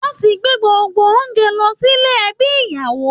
Wọn ti gbé gbogbo oúnjẹ lọ sílè ẹbí ìyàwó